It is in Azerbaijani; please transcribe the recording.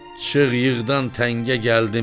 Çıx yığdan təngə gəldim!